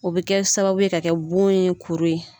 O bɛ kɛ sababu ye ka kɛ bon ye kuru ye.